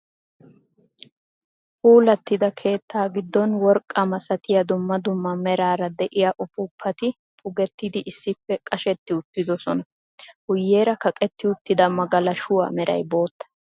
Puulatida keettaa giddon worqqa masatiya dumma dumma meraara de'iya uppuppati pugettidi issippe qasheti uttiddossona . Guyeera kaqqetti uttida magalashuwa meray bootta.